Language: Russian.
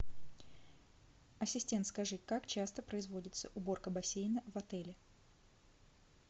ассистент скажи как часто производится уборка бассейна в отеле